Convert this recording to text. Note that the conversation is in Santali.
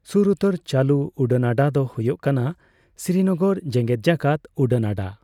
ᱥᱩᱨ ᱩᱛᱟᱹᱨ ᱪᱟᱹᱞᱩ ᱩᱰᱟᱹᱱᱟᱰᱟ ᱫᱚ ᱦᱳᱭᱳᱜ ᱠᱟᱱᱟ ᱥᱨᱤᱱᱚᱜᱚᱨ ᱡᱮᱜᱮᱫᱡᱟᱠᱟᱛ ᱩᱰᱟᱹᱱᱟᱰᱟ ᱾